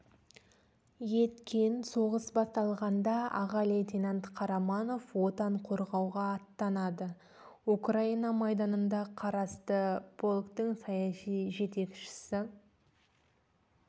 еткен соғыс басталғанда аға лейтенант қараманов отан қорғауға аттанады украина майданына қарасты полктің саяси жетекшісі